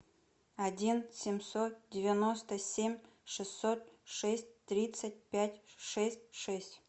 один семьсот девяносто семь шестьсот шесть тридцать пять шесть шесть